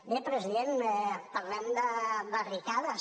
bé president parlem de barricades